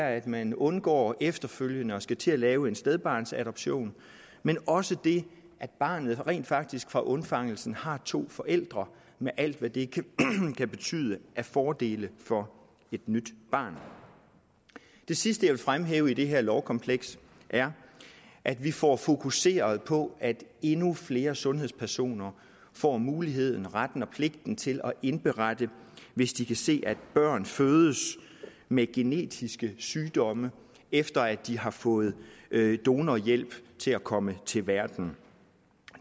at man undgår efterfølgende at skulle til at lave en stedbarnsadoption men også det at barnet rent faktisk fra undfangelsen har to forældre med alt hvad det kan betyde af fordele for et nyt barn det sidste jeg vil fremhæve i det her lovkompleks er at vi får fokuseret på at endnu flere sundhedspersoner får muligheden retten og pligten til at indberette hvis de kan se at børn fødes med genetiske sygdomme efter at de har fået donorhjælp til at komme til verden